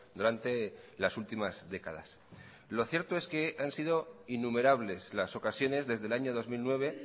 durante las últimas décadas lo cierto es que han sido innumerables las ocasiones desde el año dos mil nueve